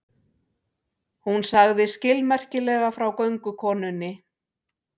Hún sagði skilmerkilega frá göngukonunni.